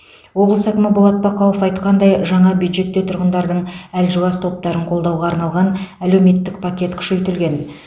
облыс әкімі болат бақауов айтқандай жаңа бюджетте тұрғындардың әлжуаз топтарын қолдауға арналған әлеуметтік пакет күшейтілген